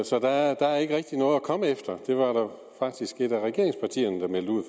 så der er ikke rigtig noget at komme efter det var der faktisk et af regeringspartierne der meldte ud